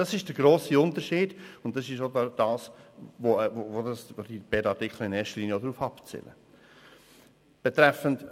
Das ist der grosse Unterschied, und darauf zielen die beiden Artikel in erster Linie ab.